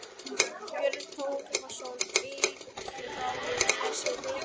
Björn Þorláksson: Eitraður þessi reykur?